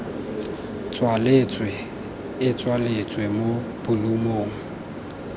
tswaletswe e tsweletswa mo bolumong